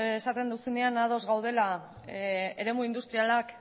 esaten duzunean ados gaudela eremu industrialak